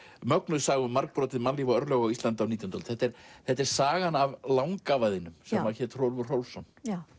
mögnuð saga um margbrotið mannlíf og örlög á Íslandi á nítjándu öld þetta er þetta er sagan af langafa þínum sem hét Hrólfur Hrólfsson